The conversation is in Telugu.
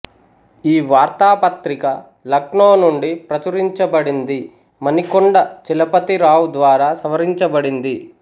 ఈ వార్తాపత్రిక లక్నో నుండి ప్రచురించబడింది మణికొండ చలపతి రావ్ ద్వారా సవరించబడింది